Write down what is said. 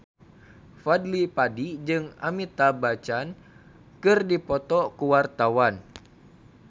Fadly Padi jeung Amitabh Bachchan keur dipoto ku wartawan